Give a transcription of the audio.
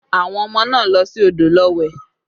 Àwọn ọmọ náà lọ sí odò lọ wẹ̀